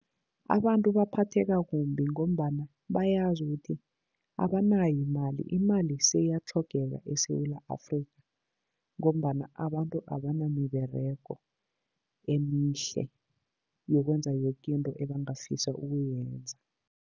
Abantu baphatheka kumbi ngombana bayazi ukuthi abanayo imali. Imali seyatlhogeka eSewula Afrika ngombana abantu abanamiberego emihle yokwenza yoke into ebangafisa ukuyenza.